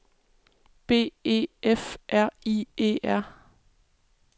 B E F R I E R